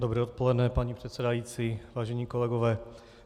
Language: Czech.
Dobré odpoledne, paní předsedající, vážení kolegové.